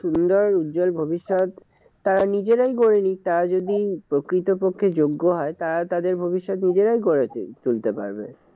সুন্দর উজ্জ্বল ভবিষ্যত তারা নিজেরাই গড়ে নিক। তারা যদি প্রকৃত পক্ষে যোগ্য হয়, তারা তাদের ভবিষ্যত নিজেরাই গড়ে তুলতে পারবে।